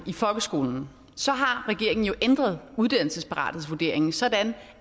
i folkeskolen har regeringen jo ændret uddannelsesparathedsvurderingen sådan